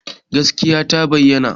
Gaskiya ta bayyana